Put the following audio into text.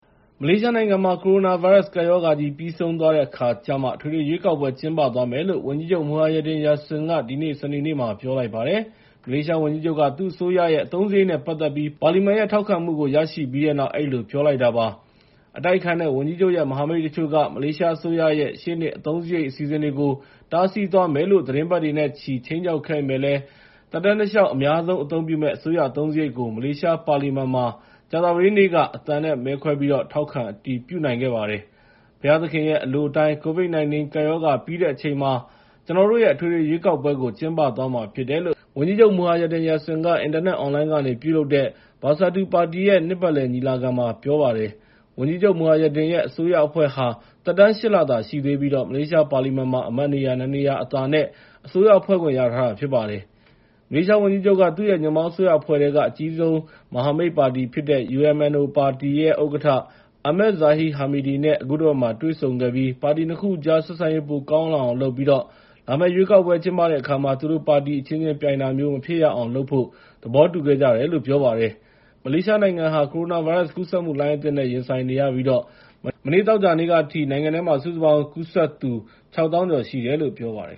မလေးရှားနိုင်ငံမှာ ကိုရိုနာဗိုင်းရပ်စ် ကပ်ရောဂါကြီး ပြီးဆုံးသွားတဲ့အခါကျမှ အထွေထွေရွေးကောက်ပွဲ ကျင်းပသွားမယ်လို့ ဝန်ကြီးချုပ် Muhyiddin Yassin က ဒီနေ့ စနေနေ့မှာ ပြောလိုက်ပါတယ်။ မလေးရှားဝန်ကြီးချုပ်က သူ့အစိုးရရဲ့ အသုံးစရိတ်နဲ့ ပတ်သက်ပြီး ပါလီမန်ရဲ့ ထောက်ခံမှုကို ရရှိပြီးတဲ့နောက် အဲဒီလိုပြောလိုက်တာ ဖြစ်ပါတယ်။ အတိုက်အခံတွေနဲ့ ဝန်ကြီးချုပ်ရဲ့ မဟာမိတ်တချို့က မလေးရှားအစိုးရရဲ့ ရှေ့နှစ်အသုံးစရိတ် အစီအစဉ်တွေကို တားဆီးသွားမယ်လို့ သီတင်းပတ်နဲ့ချီ ခြိမ်းခြောက်ခဲ့ပေမယ့်လည်း သက်တမ်းတလျှောက် အများဆုံးအသုံးပြုမယ့် အစိုးရအသုံးစရိတ်ကို မလေးရှားပါလီမန်မှာ ကြာသပတေးနေ့က အသံနဲ့မဲခွဲပြီး ထောက်ခံအတည်ပြုနိုင်ခဲ့ပါတယ်။ “ဘုရားသခင်ရဲ့ အလိုအတိုင်း COVID-19 ကပ်ရောဂါ ပြီးတဲ့အချိန်မှာ ကျနော်တို့ရဲ့ အထွေထွေရွေးကောက်ပွဲကို ကျင်းပသွားမှာဖြစ်တယ်” လို့ ဝန်ကြီးချုပ် Muhyiddin က အင်တာနက်အွန်လိုင်းကနေ ပြုလုပ်တဲ့ Bersatu ပါတီရဲ့ နှစ်ပတ်လည်ညီလာခံမှာ ပြောကြားလိုက်ပါတယ်။ ဝန်ကြီးချုပ် Muhyiddin ရဲ့ အစိုးရအဖွဲ့ဟာ သက်တမ်း ၈ လသာရှိသေးပြီး မလေးရှားပါလီမန်မှာလည်း အမတ်နေရာ ၂ နေရာအသာနဲ့ အစိုးရဖွဲ့ခွင့်ရထားတာ ဖြစ်ပါတယ်။ မလေးရှားဝန်ကြီးချုပ်က သူ့ရဲ့ ညွန့်ပေါင်းအစိုးရအဖွဲ့ထဲက အကြီးဆုံး မဟာမိတ်ပါတီဖြစ်တဲ့ UMNO ပါတီဥက္ကဋ္ဌ Ahmad Zahid Hamidi နဲ့ အခုတပတ်မှာ တွေ့ဆုံခဲ့ပြီး ပါတီ ၂ ခုကြား ဆက်ဆံရေး ပိုကောင်းလာအောင်လုပ်ပြီး လာမယ့်ရွေးကောက်ပွဲ ကျင်းပတဲ့အခါမှာ သူတို့ပါတီအချင်းချင်းပြိုင်တာ မဖြစ်ရအောင်လုပ်ဖို့ သဘောတူခဲ့ကြတယ်လို့ ပြောပါတယ်။ မလေးရှားနိုင်ငံဟာ ကိုရိုနာဗိုင်းရပ်စ်ကူးစက်မှု လှိုင်းအသစ်နဲ့ ရင်ဆိုင်နေရပြီး မနေ့ သောကြာနေ့ကအထိ နိုင်ငံထဲမှာ စုစုပေါင်းကူးစက်သူ ၆၀,၀၀၀ ကျော်ရှိတယ်လို့ ပြောပါတယ်